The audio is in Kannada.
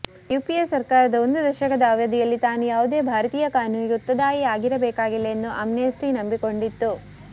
ಯುಪಿಎ ಸರ್ಕಾರದ ಒಂದು ದಶಕದ ಅವಧಿಯಲ್ಲಿ ತಾನು ಯಾವುದೇ ಭಾರತೀಯ ಕಾನೂನಿಗೆ ಉತ್ತದಾಯಿಯಾಗಿರಬೇಕಾಗಿಲ್ಲ ಎಂದು ಅಮ್ನೆಸ್ಟಿನಂಬಿಕೊಂಡಿತ್ತು